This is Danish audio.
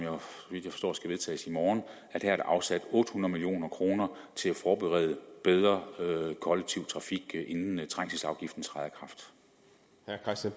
så skal vedtages i morgen her er afsat otte hundrede million kroner til at forberede bedre kollektiv trafik inden trængselsafgiften træder